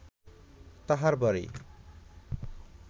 তাঁহার বাড়ি